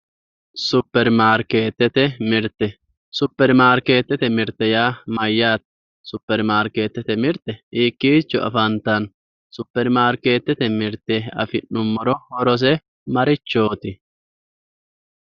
superimaarkeetete mirte superimaarkeetete mirte yaa mayyaate? superimaarkeetete mirte hiikkiicho afantanno? superimaarkeetete mirte afi'nummoro horose marichooti?